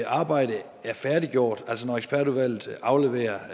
arbejde er færdiggjort altså når ekspertudvalget afleverer